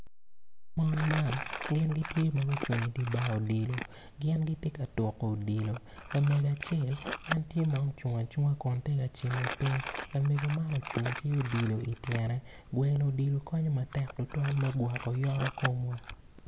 Mon man gitye ma gucung i dye bar odilo gin gitye ka tuko odilo lamego acel en tye ma ocung acunga tye ka cimo piny lamego acel ocung ki odilo i tyene tuko dilo konyo tutwal me yubo yoto kom.